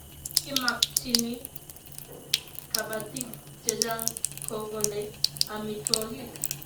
Ki makchini kabatik chechang' ko kole amitwogik